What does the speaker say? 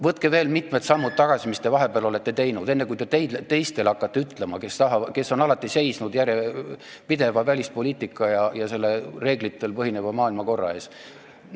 Võtke veel mitu sammu tagasi, mis te vahepeal teinud olete, enne kui hakkate teistele ütlema, kes on alati järjepideva välispoliitika ja reeglitel põhineva maailmakorra eest seisnud.